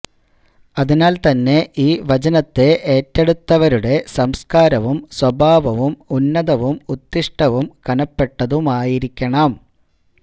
അതിനാല്തന്നെ ഈ വചനത്തെ ഏറ്റെടുത്തവരുടെ സംസ്കാരവും സ്വഭാവവും ഉന്നതവും ഉത്തിഷ്ഠവും കനപ്പെട്ടതുമായിരിക്കണം